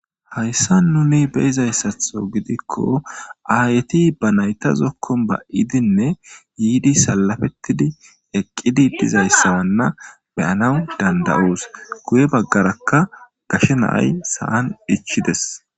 hayssa nuni beizayssatho gidikko ayti ba nayta zokkon ba7idinne yiidi salafettidi eqqidi dizayssawanna beyanaw dandayuus guye baggarakka gashe naay sa7an dhichides